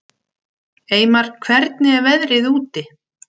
Eymar, hvernig er veðrið úti?